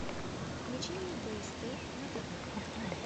включи мне бст на тв